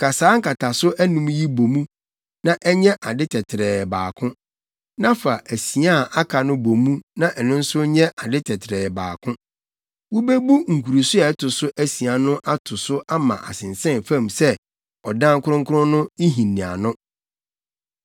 Ka saa nkataso yi anum bɔ mu na ɛnyɛ ade tɛtrɛɛ baako; na fa asia a aka no bɔ mu na ɛno nso nyɛ ade tɛtrɛɛ baako. Wobebu nkuruso a ɛto so asia no ato so ama asensɛn fam sɛ ɔdan kronkron no nhiniano.